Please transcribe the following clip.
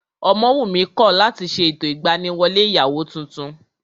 Ọmọwùnmí kọ̀ láti ṣe ètò ìgbaniwọlé ìyàwó tuntun